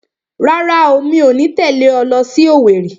Rárá, mi ò ní tẹ̀lé ọ lọ sí Owerri